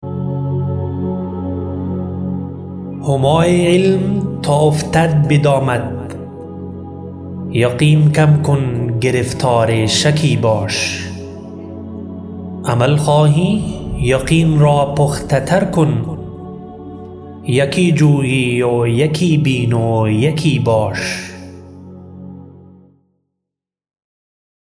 همای علم تا افتد بدامت یقین کم کن گرفتار شکی باش عمل خواهی یقین را پخته تر کن یکی جوی و یکی بین و یکی باش